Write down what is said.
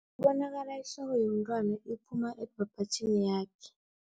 Bekubonakala ihloko yomntwana iphuma ebhabhatjhini yakhe.